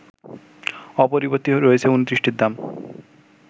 অপরিবর্তিত রয়েছে ২৯টির দাম